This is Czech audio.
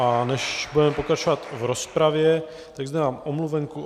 A než budeme pokračovat v rozpravě, tak zde mám omluvenku.